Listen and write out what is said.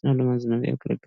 ዝናብ ለማዝነብ ያገለግላል።